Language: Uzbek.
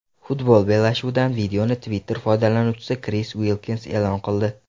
Futbol bellashuvidan videoni Twitter foydalanuvchisi Kris Uilkins e’lon qildi.